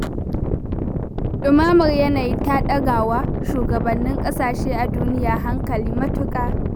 Ɗumamar yanayi ta ɗaga wa shugabannin kasashe a duniya hankali matuƙa.